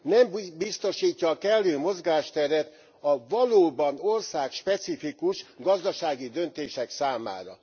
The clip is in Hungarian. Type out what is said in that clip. Nem biztosítja a kellő mozgásteret a valóban országspecifikus gazdasági döntések számára.